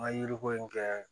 Ŋa yiri ko in kɛ